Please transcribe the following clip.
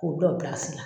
K'u dɔ bilasira